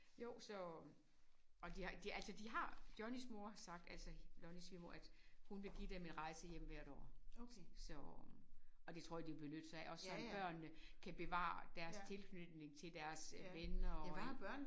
Jo så og de har de altså de har Johnnys mor har sagt altså Lonnies svigermor at hun har sagt hun vil give dem en rejse hjem hvert år så og det tror jeg de vil benytte sig af også sådan så børnene kan bevare deres tilknytning til deres venner og alt